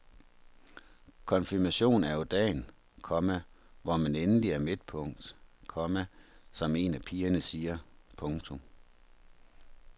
Konfirmationen er jo dagen, komma hvor man endelig er midtpunkt, komma som en af pigerne siger. punktum